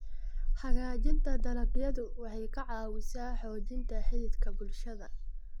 Hagaajinta dalagyadu waxay ka caawisaa xoojinta xidhiidhka bulshada